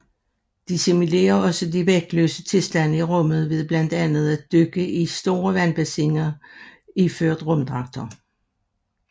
De simulerer også de vægtløse tilstande i rummet ved blandt andet at dykke i store vandbassiner iført rumdragter